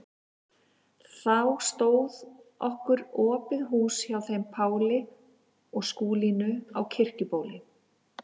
Þá stóð okkur opið hús hjá þeim Páli og Skúlínu á Kirkjubóli.